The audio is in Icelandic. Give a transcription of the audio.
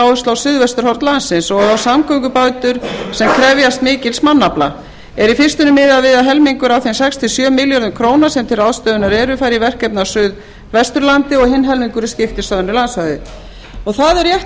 áherslu á suðvesturhorn landsins og á samgöngubætur sem krefjast mikils mannafla er í fyrstunni miðað við að helmingur af þeim sex sjö milljónir króna sem til ráðstöfunar eru fari í verkefni á suðvesturlandi og hinn helmingurinn skiptist á önnur landsvæði það er rétt